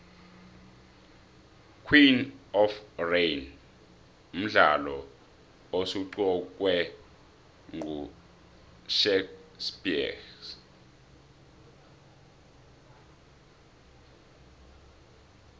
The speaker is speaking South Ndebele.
queen of rain mdlalo osunqukwe nqushhack speex